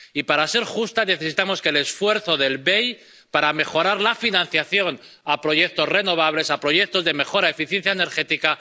Y, para ser justa, necesitamos el esfuerzo del BEI para mejorar la financiación de proyectos renovables, de proyectos de mejora de eficiencia energética.